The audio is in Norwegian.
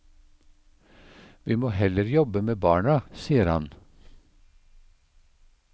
Vi må heller jobbe med barna, sier han.